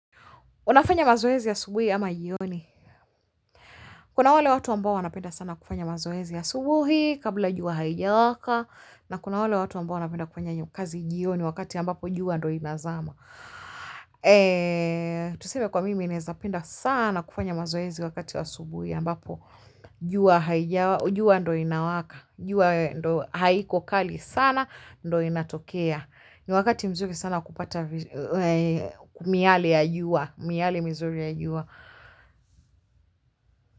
Unafanya mazoezi asubuhi ama jioni? Kuna wale watu ambao wanapenda sana kufanya mazoezi asubuhi kabla jua halijawaka na kuna wale watu ambao wanapenda kufanya hiyo kazi jioni wakati ambapo jua ndio inazama. Tuseme kwa mimi naweza penda sana kufanya mazoezi wakati asubuhi ambapo jua haijawaka. Jua ndiyo inawaka. Jua haiko kali sana ndiyo inatokea. Ni wakati mzuri sana kupata miale ya jua. Miale mizuri ya jua.